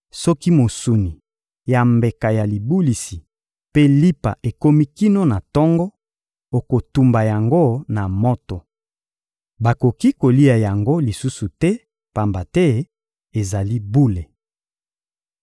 Soki mosuni ya mbeka ya libulisi mpe lipa ekomi kino na tongo, okotumba yango na moto. Bakoki kolia yango lisusu te, pamba te ezali bule.